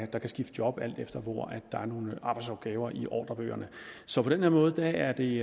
der kan skifte job alt efter hvor der er nogle arbejdsopgaver i ordrebøgerne så på den her måde er det